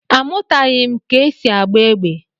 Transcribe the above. Amụtaghị m ka e si agba égbè.